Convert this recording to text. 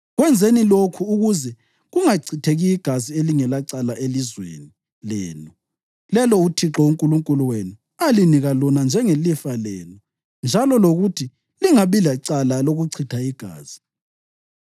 Kwenzeni lokhu ukuze kungachitheki igazi elingelacala elizweni lenu, lelo uThixo uNkulunkulu wenu alinika lona njengelifa lenu, njalo lokuthi lingabi lecala lokuchitha igazi.